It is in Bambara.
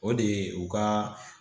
O de ye u ka